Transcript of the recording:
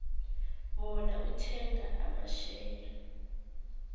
bona uthenga amashare